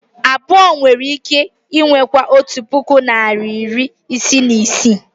abụọ nwere ike ikewaa otu puku na iri isii na isii